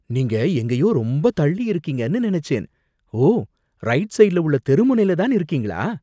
நீங்க எங்கேயோ ரொம்ப தள்ளி இருக்கீங்கன்னு நினைச்சேன். ஓ, ரைட் சைட்ல உள்ள தெருமுனைல தான் இருக்கீங்களா!